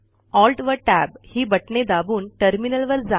Alt व Tab ही बटणे दाबून टर्मिनल वर जा